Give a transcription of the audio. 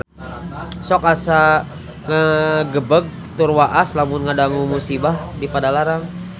Sok asa ngagebeg tur waas lamun ngadangu musibah di Padalarang